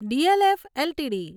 DLF LTD